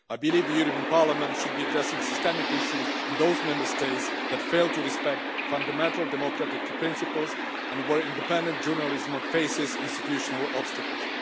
I believe the European Parliament should be addressing systemic issues in those Member States that fail to respect fundamental democratic principles and where independent journalism faces institutional obstacles.